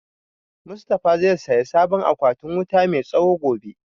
Mustafa zai saya sabon akwatin wuta mai tsawo gobe